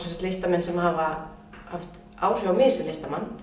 listamenn sem hafa haft áhrif á mig sem listamann